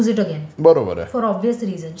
हा, बरोबर आहे,